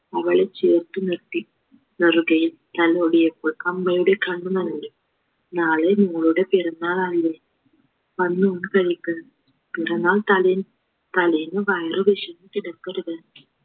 മകളെ ചേർത്ത് നിർത്തി വെറുതെ തലോടിയപ്പോൾ അമ്മയുടെ കണ്ണ് നനഞ്ഞു നാളെ മോളുടെ പിറന്നാളായില്ലേ വന്ന് ഊണ് കഴിക്ക് പിറന്നാൾ തലേ തലേന്ന് വയറു വിശന്ന് കിടക്കരുത്